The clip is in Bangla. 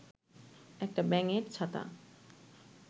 একটা ব্যাঙের ছাতা